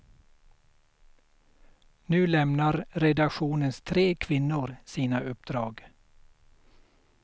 Nu lämnar redaktionens tre kvinnor sina uppdrag.